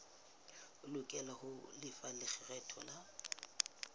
lokela ho lefa lekgetho la